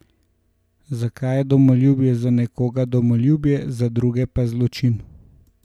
Zakaj je domoljubje za nekoga domoljubje, za druge pa zločin?